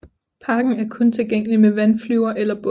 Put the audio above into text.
Parken er kun tilgængelig med vandflyver eller båd